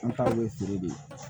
An taw ye feere de ye